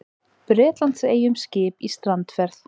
Bretlandseyjum skip í strandferð.